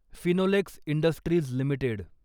Finolex industries limited